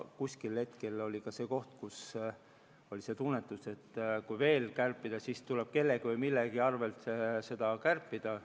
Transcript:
Mingil hetkel oli ka see koht, kus tekkis tunne, et kui veel kärpida, siis tuleb kellegi või millegi arvelt kärpida.